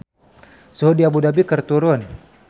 Suhu di Abu Dhabi keur turun